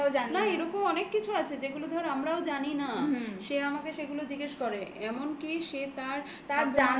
না এরকম অনেক কিছু আছে. যেগুলো ধরো আমরাও জানি না। হুম। সে আমাকে সেগুলো জিজ্ঞেস করে। এমনকি সে তার